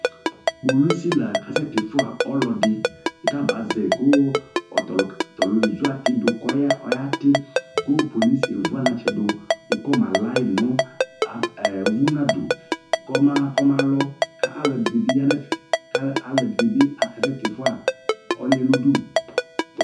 Kpolusila ɔkasɛtifua ɔlɔdi kabazɛi Ku, tɔluɛ ezuatidu, kɔati, Ku pkpolusi vuanaƒɣɛ du kɔmalaɣi nu, komalɔ, kaaluɛdinbi yanɛƒɛ Ku aluɛdinibi, akasetifu ɔluɛ nu udu